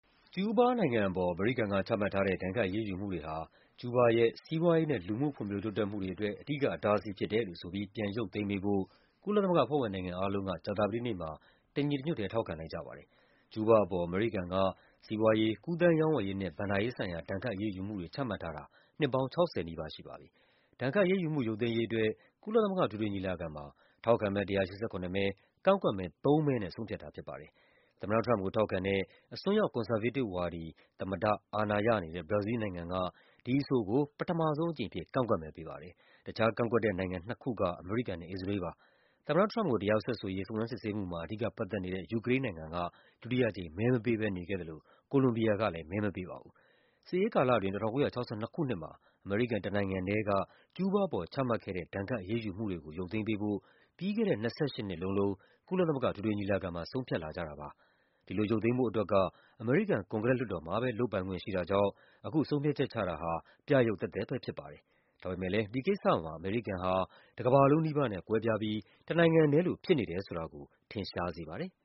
ကျူးဘားနိုင်ငံအပေါ် အမေရိကန်ချမှတ်ထားတဲ့ ဒဏ်ခတ်အရေးယူမှုတွေဟာ ကျူးဘားရဲ့ စီးပွားရေးနဲ့ လူူမှု ဖွံ့ဖြိုးတိုးတက်မှုတွေ အတွက် အဓိကအတားအဆီးဖြစ်တယ်လို့ဆိုပြီး ပြန်ရုပ်သိမ်းပေးဖို့ ကုလသမဂ္ဂ အဖွဲ့ဝင်နိုင်ငံအားလုံးက ကြာသပတေးနေ့မှာ တညီတညွတ်ထဲ ထောက်ခံလိုက်ကြပါတယ်။ ကျူးဘားအပေါ် အမေရိကန်က စီးပွားရေး၊ ကူးသန်းရောင်းဝယ်ရေးနဲ့ ဘဏ္ဍာရေးဆိုင်ရာ ဒဏ်ခတ်အရေးယူမှုတွေ ချမှတ်ထား တာ နှစ်ပေါင်း ၆၀ နီးပါးရှိပါပြီ။ ဒဏ်ခတ်အရေးယူမှု ရုပ်သိမ်းရေးအတွက် ကုလသမဂ္ဂ အထွေထွေညီလာခံမှာ ထောက်ခံမဲ ၁၈၇ မဲ၊ ကန့်ကွက်မဲ ၃ မဲနဲ့ ဆုံးဖြတ် တာဖြစ်ပါတယ်။ သမ္မတထရမ့်ပ်ကို ထောက်ခံတဲ့ အစွန်းရောက် ကွန်ဆာဗေးတစ်ဝါဒီ သမ္မတ အာဏာရနေတဲ့ ဘရာဇီးလ်နိုင်ငံက ဒီအဆိုကို ပထမဆုံးအကြိမ်အဖြစ် ကန့်ကွက်မဲ ပေးပါတယ်။ တခြားကန့်ကွက်တဲ့ နိုင်ငံနှစ်ခုက အမေရိကန်နဲ့ အစ္စရေးလ်ပါ။ သမ္မတထရမ့်ပ်ကို တရားစွဲဆိုရေး စုံစမ်းစစ်ဆေးမှုမှာ အဓိကပတ်သက်နေတဲ့ ယူကရိန်းနိုင်ငံက ဒုတိယအကြိမ် မဲမပေးဘဲနေခဲ့ သလို Colombia ကလည်း မဲမပေးပါဘူး။ စစ်အေးကာလအတွင်း ၁၉၆၂ ခုနှစ်မှာ အမေရိကန်တနိုင်ငံထဲက ကျူးဘားအပေါ်ချမှတ်ခဲ့တဲ့ ဒဏ်ခတ်အရေးယူမှုတွေကို ရုပ်သိမ်းပေးဖို့ ပြီးခဲ့တဲ့ ၂၈ နှစ်လုံးလုံး ကုလသမဂ္ဂအထွေထွေညီလာခံမှာ ဆုံးဖြတ်ခဲ့ကြတာပါ။ ဒီလိုရုပ်သိမ်းဖို့အတွက် အမေရိကန် ကွန်ဂရက်လွှတ်တော်မှာပဲ လုပ်ပိုင်ခွင့်ရှိတာကြောင့် ဆုံးဖြတ်ချက်ချတာဟာ ပြယုဂ်သက်သက်ပဲ ဖြစ်ပါတယ်။ ဒါပေမယ့်လည်း ဒီကိစ္စမှာ အမေရိကန်ဟာ တကမ္ဘာလုံးနီးပါးနဲ့ကွဲပြားပြီး တနိုင်ငံထဲလို ဖြစ်နေတယ်ဆိုတာကို ထင်ရှားစေပါတယ်။